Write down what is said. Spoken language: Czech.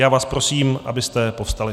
Já vás prosím, abyste povstali.